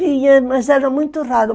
Ia, mas era muito raro.